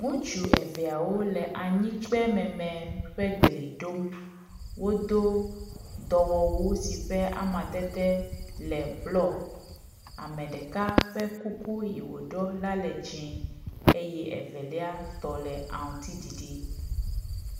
Ŋutsu eveawo le anyikpe meme ƒe glia ɖom. Wodo dɔwɔwu si ƒe amadede le blɔ. Ame ɖeka ƒe kuku yi woɖɔ la le dzɛ̃e eye evelia tɔ le aŋutiɖiɖi.